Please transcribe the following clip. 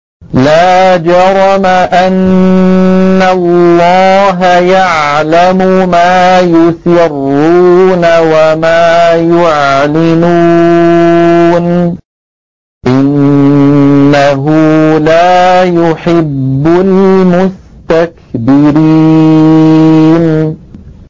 لَا جَرَمَ أَنَّ اللَّهَ يَعْلَمُ مَا يُسِرُّونَ وَمَا يُعْلِنُونَ ۚ إِنَّهُ لَا يُحِبُّ الْمُسْتَكْبِرِينَ